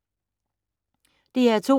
DR2